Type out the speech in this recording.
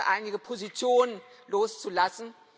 hier einige Positionen loszulassen.